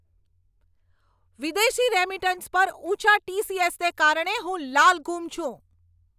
વિદેશી રેમિટન્સ પર ઊંચા ટી.સી.એસ.ને કારણે હું લાલઘુમ છું.